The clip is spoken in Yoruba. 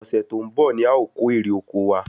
Ọ̀sẹ̀ tó ń bọ̀ ni a o kò èrè oko wa